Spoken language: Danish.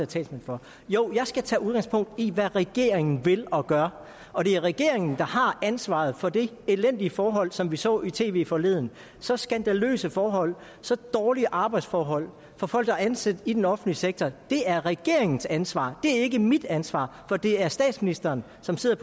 talsmand for jo jeg skal tage udgangspunkt i hvad regeringen vil og gør og det er regeringen der har ansvaret for de elendige forhold som vi så i tv forleden så skandaløse forhold så dårlige arbejdsforhold for folk der er ansat i den offentlige sektor det er regeringens ansvar det er ikke mit ansvar for det er statsministeren som sidder